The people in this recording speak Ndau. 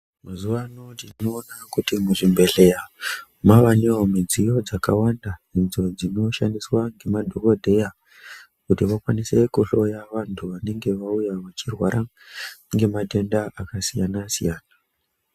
Mazuwa ano tinoona kuti muzvibhedhleya mwavanewo mudziyo dzakawanda idzo dzinoshandiswa ngemadhokodheya kuti vakwanise kuhloya vantu vanenge vachirwara ngematenda akasiyana siyana.